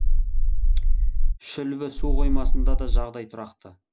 шүлбі су қоймасында да жағдай тұрақты